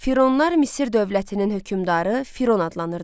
Fironlar Misir dövlətinin hökmdarı Firon adlanırdı.